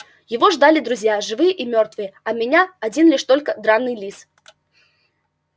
его ждали друзья живые и мёртвые а меня один лишь только драный лис